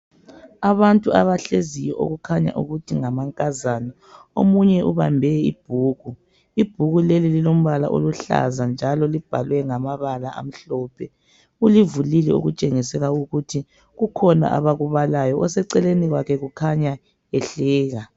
Abantu abahleziyo okukhanya ukuthi ngamankazana omunye ubambe ibhuku , ibhuke leli lilombala oluhlaza njalo libhalwe ngamabala amhlophe ulivulile okutsengisela ukuthi kukhona abakubalayo oseceleni kwakhe kukhanya ehleka.